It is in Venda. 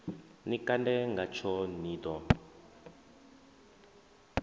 ni kande ngatsho ni ḓo